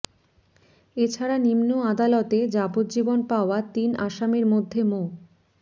এ ছাড়া নিম্ন আদালতে যাবজ্জীবন পাওয়া তিন আসামির মধ্যে মো